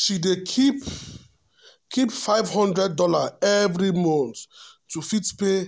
she dey keep keep five hundred dollar every month to fit pay